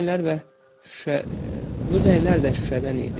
Bu zənglər və, bu zənglər də şüşədən idi.